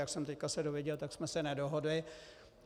Jak jsem se teď dověděl, tak jsme se nedohodli.